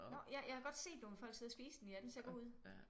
Nårh ja jeg har godt set nogen folk sidde og spise den ja den ser god ud